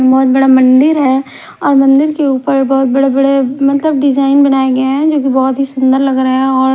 बहोत बड़ा मंदिर है और मंदिर के ऊपर बहोत बड़े बड़े मतलब डिजाइन बनाया गया है जो की बहोत ही सुंदर लग रहा हैं और--